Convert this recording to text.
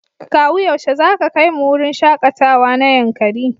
Kawu yaushe zaka kaimu wurin shakatawa na Yankari?